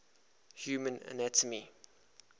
human anatomy